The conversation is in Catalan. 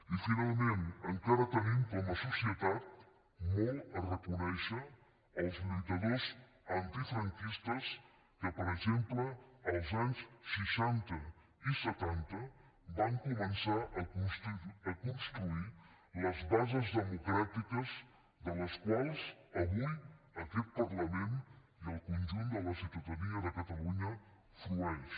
i finalment encara tenim com a societat molt a reconèixer als lluitadors antifranquistes que per exemple als anys seixanta i setanta van començar a construir les bases democràtiques de les quals avui aquest parlament i el conjunt de la ciutadania de catalunya en frueixen